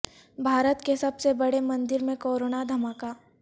بھارت کے سب سے بڑے مندر میں کورونا دھماکہ